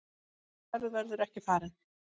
Sú ferð verður ekki farin.